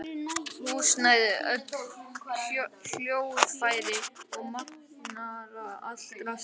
Húsnæði, öll hljóðfæri og magnara, allt draslið.